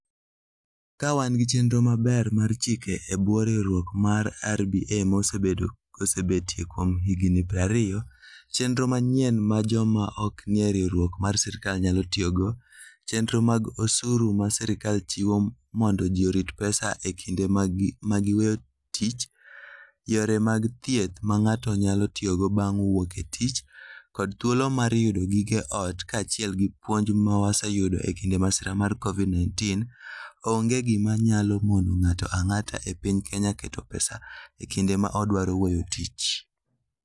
Ka wan gi chenro maber mar chike e bwo riwruok mar RBA ma osebetie kuom higini 20, chenro manyien ma joma ok nie riwruok mar sirkal nyalo tiyogo, chenro mag osuru ma sirkal chiwo mondo ji orit pesa e kinde ma giweyo tich, yore mag thieth ma ng'ato nyalo tiyogo bang' wuok e tich, kod thuolo mar yudo gige ot, kaachiel gi puonj ma waseyudo e kinde masira mar Covid-19, onge gima nyalo mono ng'ato ang'ata e piny Kenya keto pesa e kinde ma odwaro weyo tich.